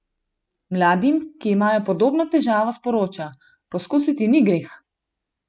Mladim, ki imajo podobno "težavo", sporoča: "Poskusiti ni greh".